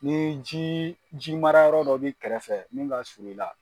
Ni ji jimara yɔrɔ dɔ b'i kɛrɛfɛ min ka suru i la.